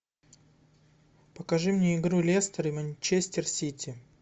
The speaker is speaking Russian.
покажи мне игру лестер и манчестер сити